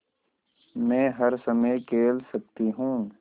मै हर समय खेल सकती हूँ